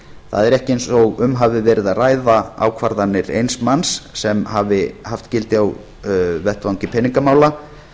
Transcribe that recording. það er ekki eins og um hafi verið að ræða ákvarðanir eins manns sem hafi haft gildi á vettvangi peningamála